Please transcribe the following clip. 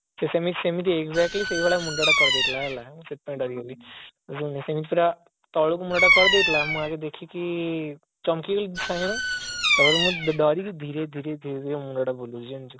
ସେମିତି ସେମିତି exactly ସେଇଭଳିଆ ମୁଣ୍ଡ ଟା କରି ଦେଇଥିଲା ହେଲା ସେଥିପାଇଁ ଡରିଗାଲି ସେମିତି ପୁରା ତଳକୁ ମୁହଁ ଟା କରି ଦେଇଥିଲା ମୁଁ ପୁରା ଦେଖିକି ଚମକି ଗାଳି ସାଙ୍ଗେ ସାଙ୍ଗେ ତାପରେ ମୁଁ ଡରିକି ଧୀରେ ଧୀରେ ଧୀରେ ଧୀରେ ମୁଣ୍ଡ ଟା ବୁଲୁଛି ଜାଣିଛୁ